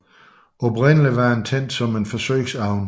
Oprindelig var den tænkt som en forsøgsovn